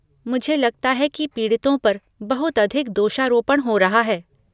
मुझे लगता है कि पीड़ितों पर बहुत अधिक दोषारोपण हो रहा है।